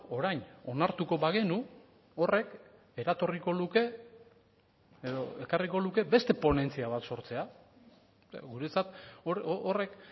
orain onartuko bagenu horrek eratorriko luke edo ekarriko luke beste ponentzia bat sortzea guretzat horrek